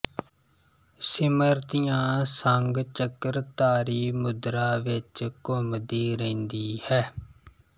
ਸਿਮਰਤੀਆਂ ਸੰਗ ਚੱਕਰਧਾਰੀ ਮੁਦਰਾ ਵਿਚ ਘੁੰਮਦੀ ਰਹਿੰਦੀ ਹੈ